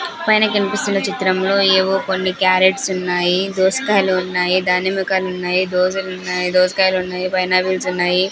పైన కనిపిస్తున్న చిత్రంలో ఏవో కొన్ని క్యారెట్స్ ఉన్నాయి దోసకాయలు ఉన్నాయి దానిమ్మకాయలు ఉన్నాయి దోసెలు ఉన్నాయి దోసకాయలు ఉన్నాయి పైనాపిల్స్ ఉన్నాయి.